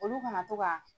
Olu kana to ka